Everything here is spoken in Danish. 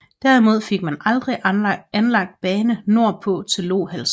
Derimod fik man aldrig anlagt bane nordpå til Lohals